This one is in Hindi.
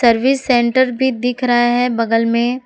सर्विस सेंटर भी दिख रहा है बगल में--